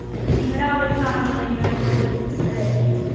നിങ്ങടെ അവിടെയും കാണുമല്ലോ ഇങ്ങനെയൊക്കെ ഒരു അല്ലെ